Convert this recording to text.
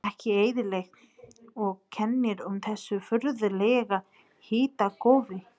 Ekki eðlilegt, og kennir um þessu furðulega hitakófi.